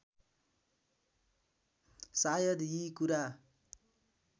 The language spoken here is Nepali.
सायद यी कुरा